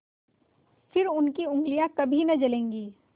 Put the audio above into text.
फिर उनकी उँगलियाँ कभी न जलेंगी